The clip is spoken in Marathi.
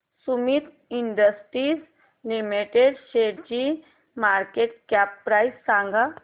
सुमीत इंडस्ट्रीज लिमिटेड शेअरची मार्केट कॅप प्राइस सांगा